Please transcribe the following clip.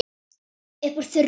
Upp úr þurru.